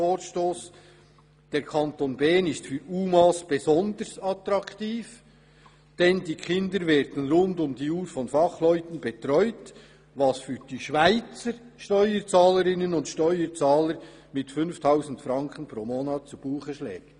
«Der Kanton Bern ist für UMA besonders attraktiv, denn die Kinder werden rund um die Uhr von Fachleuten betreut, was für die Schweizer Steuerzahlerinnen und Steuerzahler mit 5000 Franken pro Monat zu Buche schlägt.